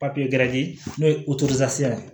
Papiye gɛrɛ n'o ye ye